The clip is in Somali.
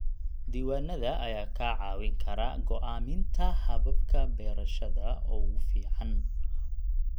Diiwaanada ayaa kaa caawin kara go'aaminta hababka beerashada ugu fiican.